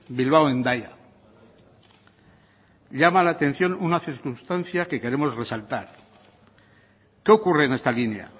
bilbao hendaya llama la atención una circunstancia que queremos resaltar qué ocurre en esta línea